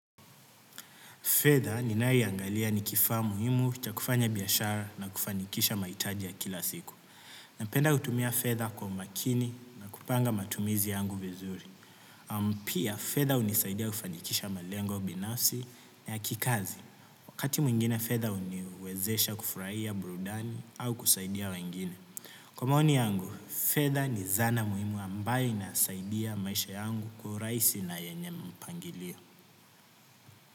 Fedha ninayoiangalia ni kifaa muhimu cha kufanya biashara na kufanikisha mahi taji ya kila siku. Napenda kutumia fedha kwa umakini na kupanga matumizi yangu vizuri. Amu pia, fedha hunisaidia kufanikisha malengo binafsi na yakikazi. Wakati mwingine fedha huniwezesha kufurahia burudani au kusaidia wengine. Kwa maoni yangu, fedha ni zana muhimu ambayo inasaidia maisha yangu kuwarahisi na yenye mpangilio.